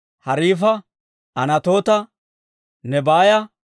Hariifa, Anatoota, Nebaaya,